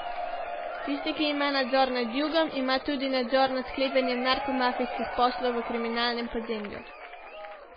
Tisti, ki ima nadzor nad jugom, ima tudi nadzor nad sklepanjem narkomafijskih poslov v kriminalnem podzemlju.